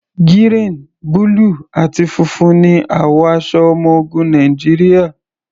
Gírìn, búlù àti funfun ní àwọ̀ aṣọ ọmọ ogun Nàìjíríà.